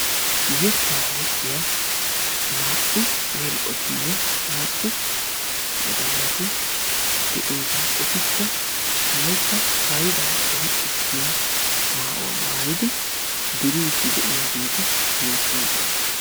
yetta yexxiyaa naa"u gela'otinne naa"u wodallati de'oosona; etakka wolaytta haydda qonccissiyaa maayuwa mayyid duride de'iyaageti beettoosona.